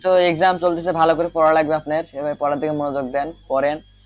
তো exam চলতেছে ভালো করে পড়া লাগবে আপনের সেভাবে পড়ার দিকে মনোযোগ দেন পড়েন,